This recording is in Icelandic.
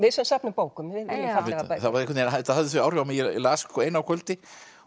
sem söfnum bókum viljum fallegar bækur þetta hafði þau áhrif á mig að ég las eina á kvöldi